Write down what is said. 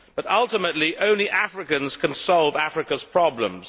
But ultimately only Africans can solve Africa's problems.